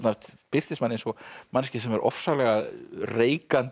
birtist manni eins og manneskja sem er ofsalega reikandi